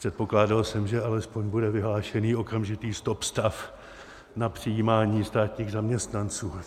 Předpokládal jsem, že alespoň bude vyhlášený okamžitý stop-stav na přijímání státních zaměstnanců.